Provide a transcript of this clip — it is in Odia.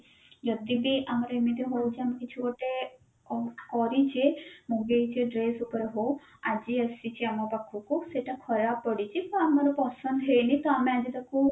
ଯଦି ବି ଆମର ଏମତି ହଉଛି ଆମେ କିଛି ଗୋଟେ କରିଛେ ମଗେଇଛେ dress ଉପରେ ହଉ ଆଜି ଆସିଛି ଆମ ପାଖକୁ ସେଟା ଖରାପ ପଡିଛି ତ ଆମର ପସନ୍ଦ ହେଇନି ତ ଆମେ ଆଜି ତାକୁ